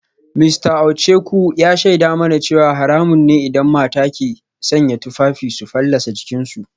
Mista Ohieku ya shaida mana cewa haramun ne idan mata ke sanya tufafi su fallasa jikinsu